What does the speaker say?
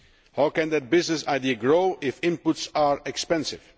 How can that business idea grow if inputs are expensive?